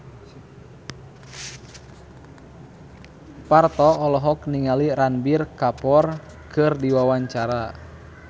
Parto olohok ningali Ranbir Kapoor keur diwawancara